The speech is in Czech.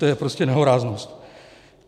To je prostě nehoráznost.